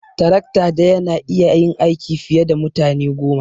Tarakta daya na iya yin aiki fiye da mutane goma.